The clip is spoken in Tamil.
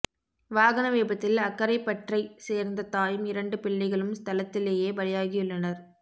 வாகன விபத்தில் அக்கரைப்பற்றைச் சேர்ந்த தாயும் இரண்டு பிள்ளைகளும் ஸ்தலத்திலேயே பலியாகியுள்ளனர்